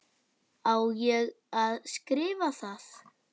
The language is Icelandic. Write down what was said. Á ég að skrifa það?